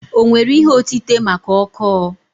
O nwere ihe otite maka ọkọọ?